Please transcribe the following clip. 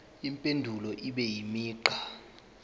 impendulo ibe imigqa